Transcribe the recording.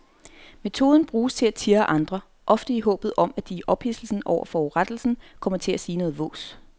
Metoden bruges til at tirre andre, ofte i håbet om at de i ophidselsen over forurettelsen kommer til at sige noget vås.